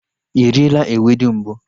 Ị riela ewedu mbụ?